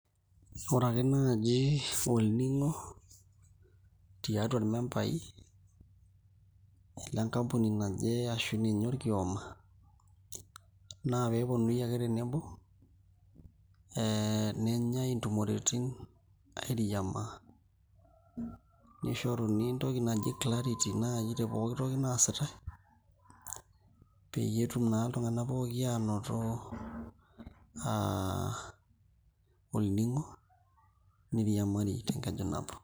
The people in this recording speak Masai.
Ore ake naaji olning'o tiatu irmembai lenkampuni naje ashu ninye naai orkioma naa pee eponunui ake tenebo ee nenyai ntumoreitin airiamaa nishoruni entoki naji clarity naai te pooki toki naasitai peyie etum naa iltung'anak pooki aanoto aa olning'o niriamari tenkeju nabo.